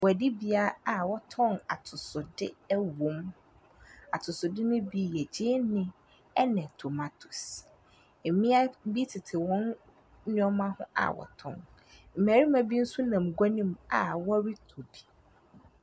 Guadibea a wɔtɔn atosode wom. Atosode no bi yɛ gyeene ne tomatoes. Mmea bi tete wɔn nneɛma ho a wɔretɔn. Mmarima bi nso nam gua no mu a wɔretɔ bi.